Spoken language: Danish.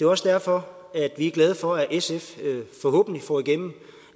også derfor at vi er glade for at sf forhåbentlig får igennem